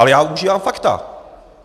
Ale já užívám fakta.